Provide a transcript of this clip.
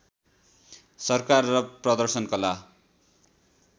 सरकार र प्रदर्शन कला